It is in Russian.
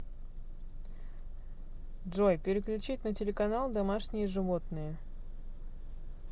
джой переключить на телеканал домашние животные